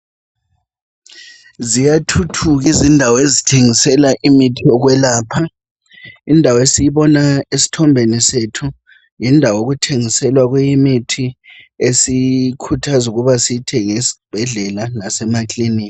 Ziyathuthuka izindawo ezithengisela imithi yokwelapha. Indawo esiyibona esithombeni sethu yindawo okuthengiselwa kuyo imithi esikhuthwazwa ukuba siyithenge esibhedlela lasemaklinika.